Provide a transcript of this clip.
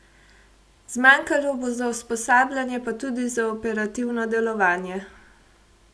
Zmanjkalo bo za usposabljanje pa tudi za operativno delovanje.